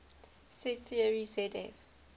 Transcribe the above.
set theory zf